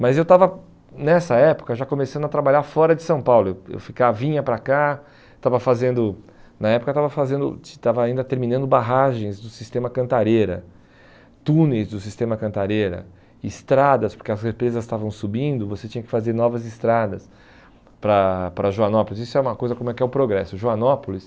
Mas eu estava nessa época já começando a trabalhar fora de São Paulo, eu eu ficava vinha para cá, estava fazendo, na época estava fazendo estava ainda terminando barragens do sistema Cantareira, túneis do sistema Cantareira, estradas, porque as represas estavam subindo, você tinha que fazer novas estradas para para Joanópolis, isso é uma coisa como é que é o progresso, Joanópolis...